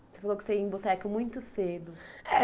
Você falou que ia em boteco muito cedo. Eh